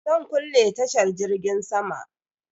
Zan kulle tashar jirgin sama?